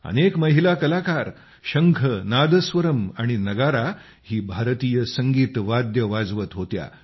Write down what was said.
अनेक महिला कलाकार शंख नादस्वरम आणि नगारा ही भारतीय संगीत वाद्ये वाजवत होत्या